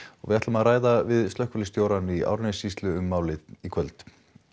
við ræðum við slökkviliðsstjórann í Árnessýslu um málið í kvöld